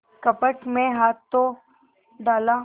कपट में हाथ तो डाला